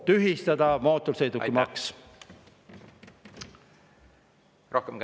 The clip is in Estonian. Tühistada mootorsõidukimaks!